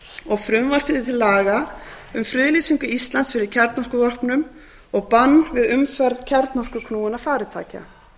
og frumvarpi til laga um friðlýsingu íslands fyrir kjarnorkuvopnum og bann við umferð kjarnorkuknúinna farartækja